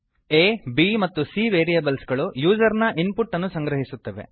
a b ಮತ್ತು c A B ಮತ್ತು C variables ಗಳು ಯೂಸರ್ ನ ಇನ್ ಪುಟ್ ಅನ್ನು ಸಂಗ್ರಹಿಸುತ್ತವೆ